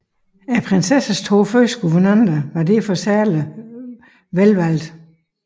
Prinsessens to første guvernanter var derfor særligt velvalgte